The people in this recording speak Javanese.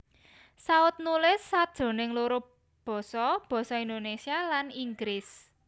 Saut nulis sajroning loro basa Basa Indonesia lan Inggris